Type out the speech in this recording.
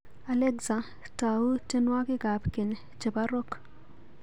Alexa, tau tyenwogikab keny chebo Rock.